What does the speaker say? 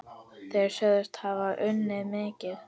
Þeir sögðust hafa unnið mikið.